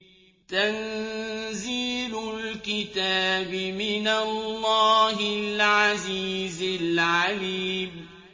تَنزِيلُ الْكِتَابِ مِنَ اللَّهِ الْعَزِيزِ الْعَلِيمِ